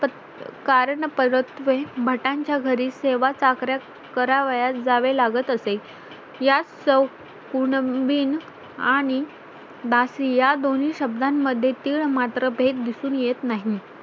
कारणपरत्वें भटांच्या घरी सेवाचाकऱ्या करावयास जावे लागत असे या शौक कुणबिन आणि दासी या दोन्ही शब्दांमध्ये तीळ मात्र भेद दिसून येत नाही